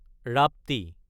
ৰাপ্তি